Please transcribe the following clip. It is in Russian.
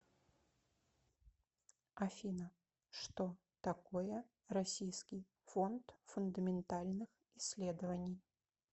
афина что такое российский фонд фундаментальных исследований